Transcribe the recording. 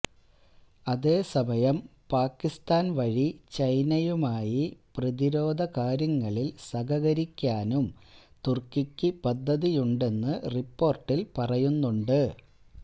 അതേസമയം പാക്കിസ്ഥാന് വഴി ചൈനയുമായി പ്രതിരോധ കാര്യങ്ങളില് സഹകരിക്കാനും തുര്ക്കിക്ക് പദ്ധതിയുണ്ടെന്ന് റിപ്പോര്ട്ടില് പറയുന്നുണ്ട്